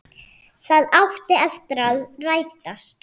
Það átti eftir að rætast.